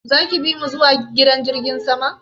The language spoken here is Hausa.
Zaki bimu zuwa gidan jirgin sama?